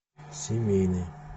семейный